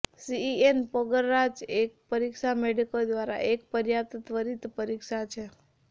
CEN પરાગરજ એક પરીક્ષા મેડોકો દ્વારા એક પર્યાપ્ત ત્વરિત પરીક્ષા છે